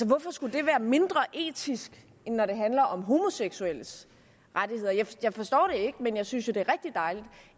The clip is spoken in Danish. hvorfor skulle det være mindre etisk end når det handler om homoseksuelles rettigheder jeg forstår det ikke men jeg synes jo det